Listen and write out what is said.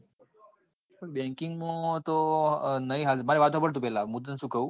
પણ banking તો નહિ હાલ મારી વાત સાંભળ તું પેલા મુ તને શું કઉં?